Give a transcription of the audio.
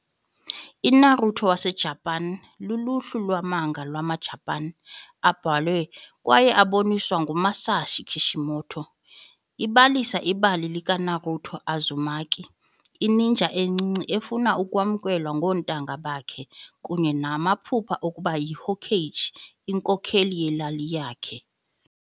INaruto waseJapan luluhlu lwe-manga lwamaJapan abhalwe kwaye aboniswa nguMasashi Kishimoto. Ibalisa ibali likaNaruto Uzumaki, i-ninja encinci efuna ukwamkelwa koontanga bakhe kunye namaphupha okuba yiHokage, inkokheli yelali yakhe.